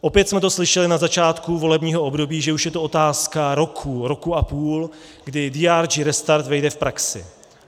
Opět jsme to slyšeli na začátku volebního období, že už je to otázka roku, roku a půl, kdy DRG restart vejde v praxi.